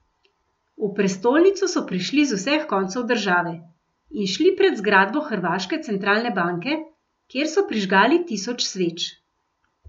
V prestolnico so prišli z vseh koncev države in šli pred zgradbo hrvaške centralne banke, kjer so prižgali tisoč sveč.